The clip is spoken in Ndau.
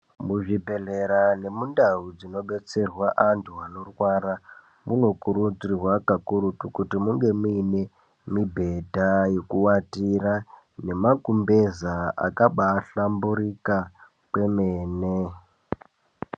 Muzvibhehlera nemundau dzinobetserwa antu anorwara munokurudzirwa kakurutu kuti munge muine mibhedha yekuatira nemakumbeza akabahlamburika kwemene.